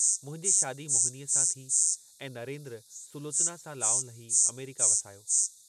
मुंहिंजी शादी मोहिनीअ सां थी ऐं नरेन्द्र सुलोचना सां लाऊं लही अमेरिका वसायो।